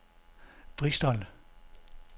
Bristol